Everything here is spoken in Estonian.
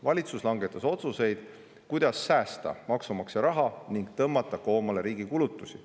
Valitsus langetas otsuseid, kuidas säästa maksumaksja raha ning tõmmata koomale riigi kulutusi.